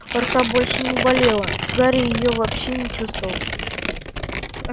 рука больше не болела гарри её вообще не чувствовал